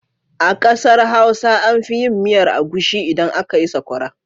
A ƙasar Hausa an fi yin miyar agushi idan aka yi sakwara.